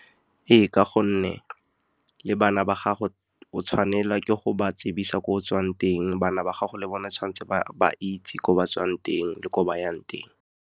Ee, ka gonne le bana ba gago o tshwanelwa ke go ba tsebisa ko o tswang teng. Bana ba gago le bone tshwantse ba itse gore ba tswang teng le ko ba yang teng.